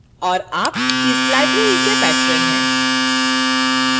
और आप इस library के patron हैं